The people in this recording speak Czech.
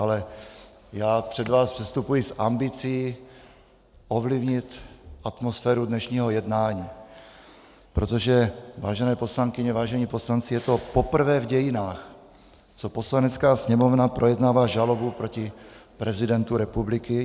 Ale já před vás předstupuji s ambicí ovlivnit atmosféru dnešního jednání, protože, vážené poslankyně, vážení poslanci, je to poprvé v dějinách, co Poslanecká sněmovna projednává žalobu proti prezidentu republiky.